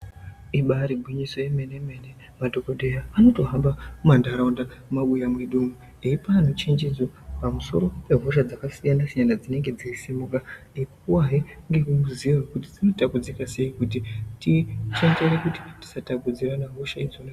Ibari gwinyiso yemene mene madhokodheya anotohamba mumatraunda mumabuya mwedu umu eipa antu njenjedzo pamusoro oehosha dzakasiyana siyana dzinenge dzeisumuka eipuwahe ngerumwe ruziwo rwekuti runotapudzira sei kuti tishandise pakuti tisatapudzirane hosha idzona idzo.